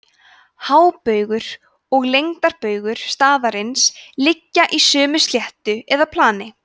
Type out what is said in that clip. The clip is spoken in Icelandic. hábaugur og lengdarbaugur staðarins liggja í sömu sléttu eða plani